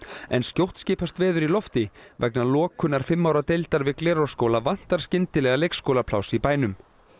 en skjótt skipast veður í lofti vegna lokunar fimm ára deildar við Glerárskóla vantar skyndilega leikskólapláss í bænum